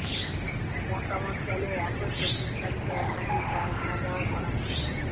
মতামত চাইলে একই প্রতিষ্ঠানকে একাধিক কাজ না দেওয়ার পরামর্শ